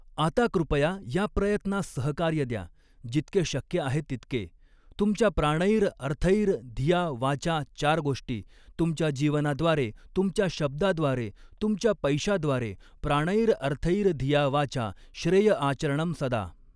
आता कृपया या प्रयत्नास सहकार्य द्या, जितके शक्य आहे तितके, तुमच्या प्राणैर अर्थैर धिया वाचा चार गोष्टी, तुमच्या जीवनाद्वारे तुमच्या शब्दाद्वारे तुमच्या पैशाद्वारे, प्राणैर अर्थैर धिया वाचा श्रेय आचरणम सदा.